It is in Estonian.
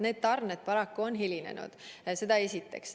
Need tarned paraku on hilinenud.